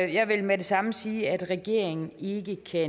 jeg vil med det samme sige at regeringen ikke kan